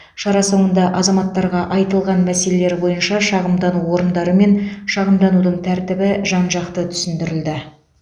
шара соңында азаматтарға айтылған мәселелері бойынша шағымдану орындары мен шағымданудың тәртібі жан жақты түсіндірілді